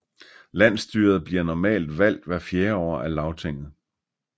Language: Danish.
Landsstyret bliver normalt valgt hvert fjerde år af Lagtinget